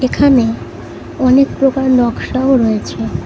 এখানে অনেক প্রকার নকশাও রয়েছে।